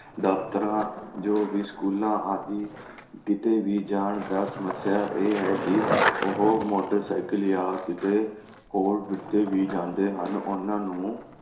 ਦਫਤਰਾਂ ਜੋ ਵੀ ਸਕੂਲਾਂ ਆਦਿ ਕਿਤੇ ਵੀ ਜਾਣ ਦਾ ਸਮੱਸਿਆ ਇਹ ਹੈ ਕਿ ਉਹ ਮੋਟਰਸਾਈਕਲ ਜਾਂ ਕਿਤੇ ਹੋਰ ਕਿਵੇ ਵੀ ਜਾਂਦੇ ਹਨ, ਉਨ੍ਹਾਂ ਨੂੰ